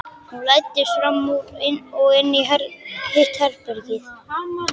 Hún læddist fram úr og inn í hitt herbergið.